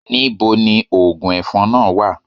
Níbo ni oògùn ẹ̀fọn náà wà?